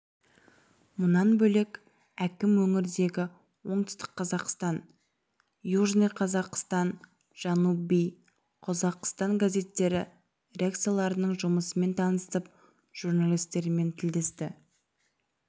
мұнан бөлек әкім өңірдегі оңтүстік қазақстан южный казахстан жанубий қозоғистон газеттері редакцияларының жұмысымен танысып журналистермен тілдесті